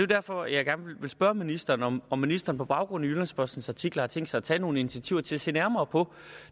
derfor jeg gerne vil spørge ministeren om om ministeren på baggrund af jyllands postens artikler har tænkt sig at tage nogle initiativer til at se nærmere på